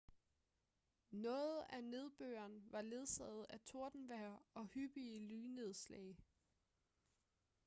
noget af nedbøren var ledsaget af tordenvejr og hyppige lynnedslag